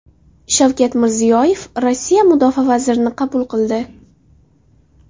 Shavkat Mirziyoyev Rossiya mudofaa vazirini qabul qildi.